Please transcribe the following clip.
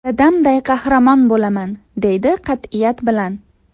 Dadamday qahramon bo‘laman!” deydi qat’iyat bilan.